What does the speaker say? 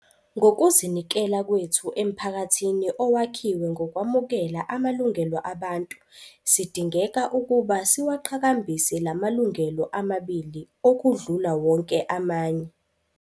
"Ngokuzinikela kwethu emphakathini owakhiwe ngokwamukela amalungelo abantu sidingeka ukuba siwaqhakambise la malungelo amabili okudlula wonke amanye."